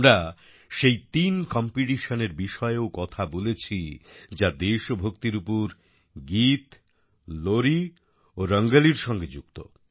আমরা সেই তিন কম্পিটিশন এর বিষয়েও কথা বলেছি যা দেশভক্তির উপর গীত লোরিঘুমপাড়ানি গান ও রঙ্গলির সঙ্গে যুক্ত